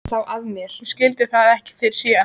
Hún skildi það ekki fyrr en síðar.